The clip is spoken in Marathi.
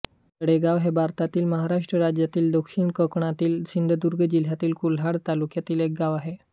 तळेगाव हे भारतातील महाराष्ट्र राज्यातील दक्षिण कोकणातील सिंधुदुर्ग जिल्ह्यातील कुडाळ तालुक्यातील एक गाव आहे